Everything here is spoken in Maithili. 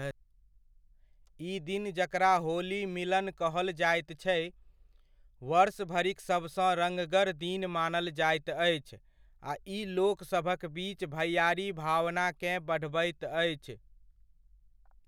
ई दिन जकरा होली मिलन कहल जाइत छै, वर्ष भरिक सबसँ रङगर दिन मानल जाइत अछि आ ई लोकसभक बीच भैआरी भावनाकेँ बढ़बैत अछि।